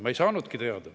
Ma ei saanudki teada.